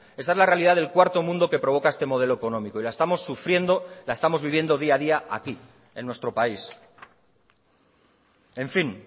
esta es la realidad del cuarto mundo que provoca este modelo económico y la estamos sufriendo la estamos viviendo día a día aquí en nuestro país en fin